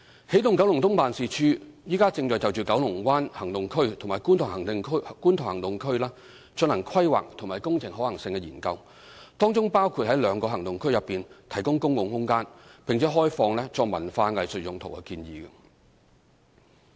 起動九龍東辦事處正就九龍灣行動區及觀塘行動區進行規劃及工程可行性研究，當中包括在兩個行動區內提供公共空間，並開放作文化藝術用途的建議。